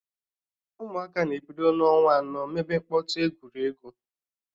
Ụmụaka na-ebido n'ọnwa anọ mebe mkpọtụ egwuregwu